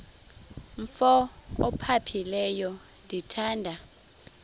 umf ophaphileyo ndithanda